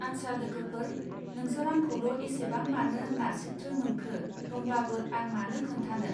आच्सा लोगोफोर नोंसोर आंखौल एसेबां मानो नारसित्रो मोनखो दंब्लाबो आं मानो खोन्थानो.